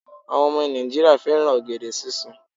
Àwọn ọmọ Nàìjíríà fẹ́ràn ọ̀gẹ̀dẹ̀ sísun